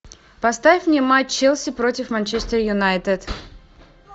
поставь мне матч челси против манчестер юнайтед